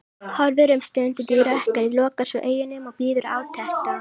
Horfir um stund út í rökkrið, lokar svo augunum og bíður átekta.